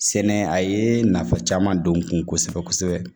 Sɛnɛ a ye nafa caman don n kun kosɛbɛ kosɛbɛ